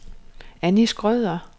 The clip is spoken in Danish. Annie Schrøder